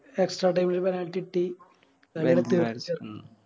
Extra time ല് Penalty കിട്ടി